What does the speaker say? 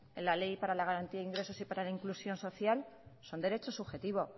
en la ley para la garantía de ingresos y para la inclusión social son derecho subjetivo